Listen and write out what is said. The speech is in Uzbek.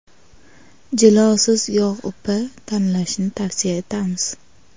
Jilosiz yog‘upa tanlashni tavsiya etamiz.